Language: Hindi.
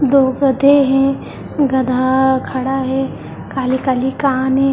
दो गधे हैं गधा खड़ा है काले काले कान हैं ।